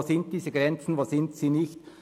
Wo sind diese Grenzen, wo sind sie nicht.